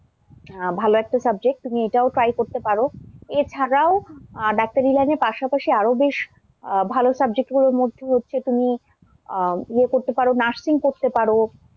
আহ ভাল একটা subject তুমি এটাও try করতে পারো, এছাড়াও আহ ডাক্তারি line এর পাশাপাশি আরও বেশ আহ ভাল subject গুলোর মধ্যে হচ্ছে তুমি আহ ইয়ে করতে পারো nursing করতে পারো,